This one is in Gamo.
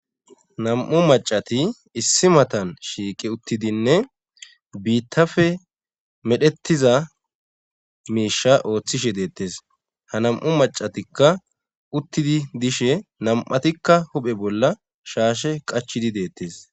nam'u macati issi matan shiiqe uttidinne biittafe medhettiza miisha ooththishe deettes ha nam'u macatikka uttidi dishe nam'atikka huphe bolla shaashe qachidi deettes